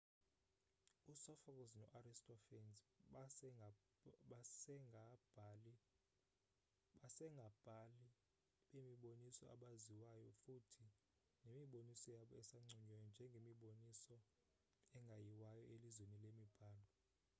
u-sophocles no-aristophanes basengabhali bemiboniso abaziwayo futhi nemiboniso yabo isanconywa njengemiboniso engeyiwayo elizweni lemibhalo